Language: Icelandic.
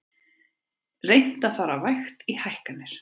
Reynt að fara vægt í hækkanir